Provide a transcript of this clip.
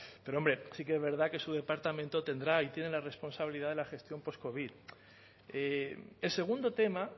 pero hombre sí que es verdad que su departamento tendrá y tiene la responsabilidad de la gestión postcovid el segundo tema